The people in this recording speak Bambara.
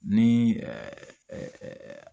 Ni